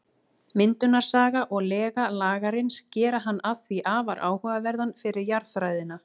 Myndunarsaga og lega Lagarins gera hann því afar áhugaverðan fyrir jarðfræðina.